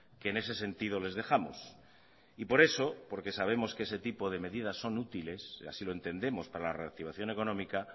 que en ese sentido les dejamos y por eso porque sabemos que ese tipo de medidas son útiles y así lo entendemos para la reactivación económica